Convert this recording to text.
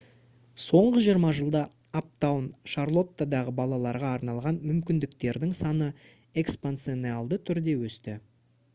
соңғы 20 жылда аптаун шарлоттадағы балаларға арналған мүмкіндіктердің саны экспоненциалды түрде өсті